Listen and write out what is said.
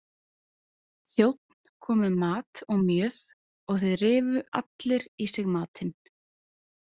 Þjónn kom með mat og mjöð og þeir rifu allir í sig matinn.